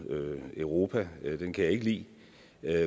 europa den kan jeg ikke lide